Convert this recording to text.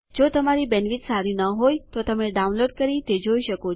જો તમારી બેન્ડવિડ્થ સારી નહિં હોય તો તમે ડાઉનલોડ કરી તે જોઈ શકો છો